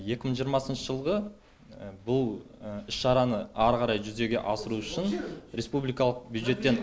екі мың жиырмасыншы жылғы бұл іс шараны ары қарай жүзеге асыру үшін республикалық бюджеттен